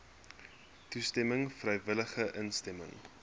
toestemming vrywillige instemming